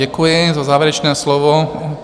Děkuji za závěrečné slovo.